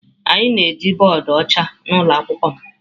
Anyị na-eji bọọdụ ọcha na ụlọ akwụkwọ m.